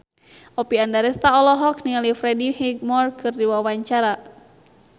Oppie Andaresta olohok ningali Freddie Highmore keur diwawancara